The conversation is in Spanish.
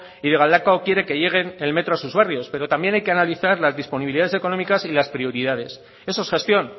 y de galdakao quieren que llegue el metro a sus barrios pero también hay que analizar las disponibilidades económicas y las prioridades eso